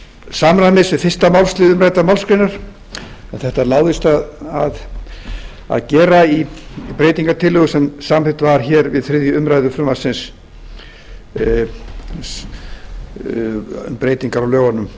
samræmis við fyrsta málslið umræddrar málsgreinar en þetta láðist að gera í breytingartillögu sem samþykkt var við þriðju umræðu frumvarpsins um breytingar á lögunum um